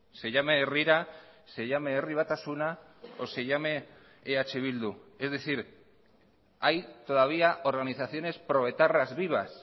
se llame herrira se llame herri batasuna o se llame eh bildu es decir hay todavía organizaciones pro etarras vivas